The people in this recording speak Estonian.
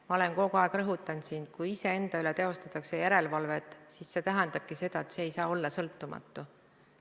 Ma olen kogu aeg rõhutanud, et kui iseenda üle teostatakse järelevalvet, siis see tähendab seda, et ei saada olla sõltumatu.